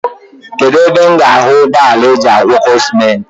Kedụ ebe m ga-ahụ ụgbọala ajị agwọkọ simenti.